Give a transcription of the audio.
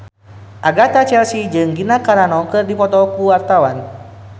Agatha Chelsea jeung Gina Carano keur dipoto ku wartawan